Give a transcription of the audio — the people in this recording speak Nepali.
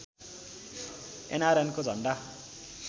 एनआरएनको झन्डा